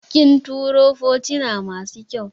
Kin turo fotuna masu kyau